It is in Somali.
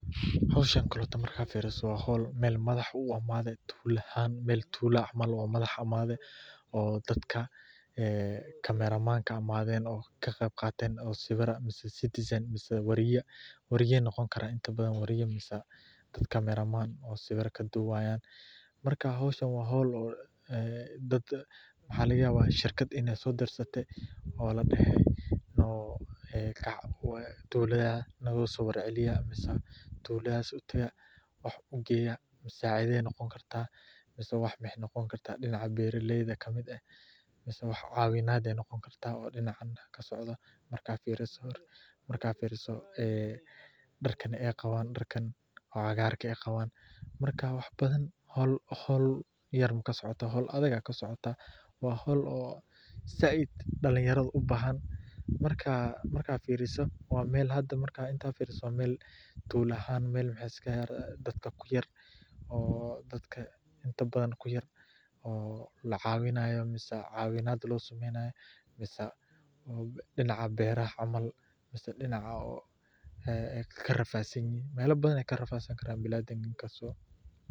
Howshan oo kale markad fiiriso waa howl Mel madax uu imaade, tuula ahan Mel tuula camal madax imaade oo dadka camera man imaade oo kaqeb qaaten oo sawira ama citizen wariya noqon karaan inta badan wariya bes camera man oo sawira kadubayan, marka howshan waa howl maxa laga yabaa dad oo shirkad inay soo dirsate ladhehe oo kac tuladaa nogaaso war celiya mise tuladaas utaka wax ugeeya, musaacida ay noqon kartaa mise wax waxay noqon kartaa dhinaca beeraleyda kamid eh mise wax caawinad ayay noqoni karta oo dhinaca kasocdo marka firiso ee dharkan ay qabaan oo cagaarke, marka wax badan, howl yar kamasocooto howl adag aya kasocotaa, waa howl oo zaaid dhalin yarada ubahan markaa marka firiso waa Mel hada intad firiso wa Mel tula ahaan dadka inta badan kuyar oo lacaawinayo mise caawinad loo sameeynayo mise dhinaca beeraha camal mise dhinacaa oo ay karafadsan yihiin, mela badan ayay karafadsanan karaan dadka bini adamka